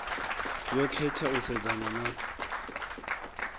yo khetha u sedzana na